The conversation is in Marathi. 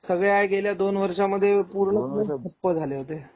सगळ्या गेल्या दोन वर्षांमध्ये पूर्ण ठप्प झाले होते.